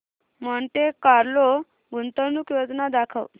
Monte Carlo गुंतवणूक योजना दाखव